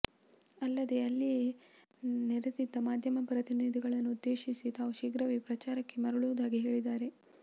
ಅಲ್ಲದೆ ಅಲ್ಲಿಯೇ ನೆರೆದಿದ್ದ ಮಾಧ್ಯಮ ಪ್ರತಿನಿಧಿಗಳನ್ನು ಉದ್ದೇಶಿಸಿ ತಾವು ಶೀಘ್ರವೇ ಪ್ರಚಾರಕ್ಕೆ ಮರಳುವುದಾಗಿ ಹೇಳಿದ್ದಾರೆ